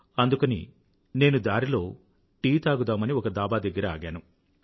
అందుకని నేను దారిలో టీ తాగుదామని ఒక ధాబా దగ్గర ఆగాను